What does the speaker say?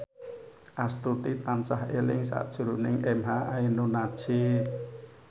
Astuti tansah eling sakjroning emha ainun nadjib